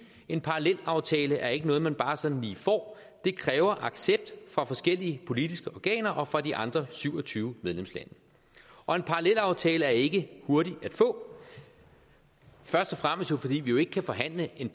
en parallelaftale er ikke noget man bare sådan lige får det kræver accept fra forskellige politiske organer og fra de andre syv og tyve medlemslande og en parallelaftale er ikke hurtig at få først og fremmest fordi vi jo ikke kan forhandle en